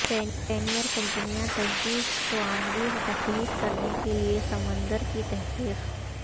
pioneer کمپنیاں تجدید توانائی تخلیق کرنے کے لئے سمندر کی تحقیق